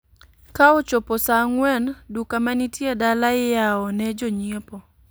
Ka ochopo saa ang'uen duka manitie dala iayao ne jonyiepo